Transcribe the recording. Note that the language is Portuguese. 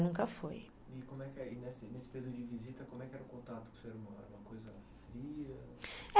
foi.